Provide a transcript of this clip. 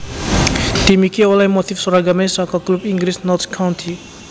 Tim iki olèh motif seragamé saka klub Inggris Notts County